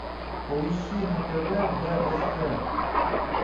поищи на тв бст